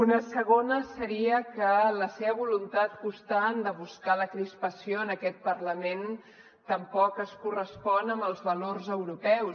una segona seria que la seva voluntat constant de buscar la crispació en aquest parlament tampoc es correspon amb els valors europeus